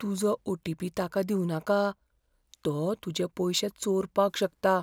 तुजो ओ.टी.पी. ताका दिवनाका . तो तुजें पयशें चोरपाक शकता.